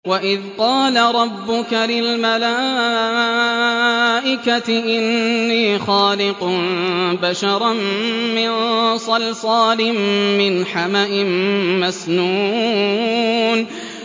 وَإِذْ قَالَ رَبُّكَ لِلْمَلَائِكَةِ إِنِّي خَالِقٌ بَشَرًا مِّن صَلْصَالٍ مِّنْ حَمَإٍ مَّسْنُونٍ